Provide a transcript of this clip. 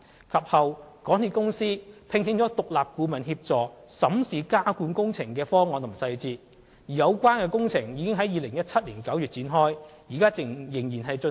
及後，港鐵公司聘請了獨立顧問協助審視加固工程的方案及細節，而有關工程已於2017年9月展開，現時仍在進行。